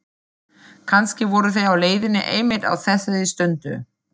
Kannski voru þeir á leiðinni einmitt á þessari stundu.